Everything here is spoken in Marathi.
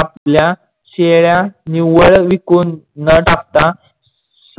आपल्या शेळ्या निव्वळ विकून न टाकता.